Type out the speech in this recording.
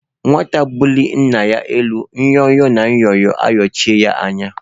Nwata bulie Nna ya elu nyo-nyo na Nyo-nyo ayochie ya anya.